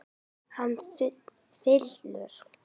Hann þylur